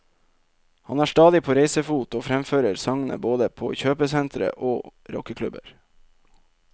Han er stadig på reisefot og fremfører sangene både på kjøpesentre og rockeklubber.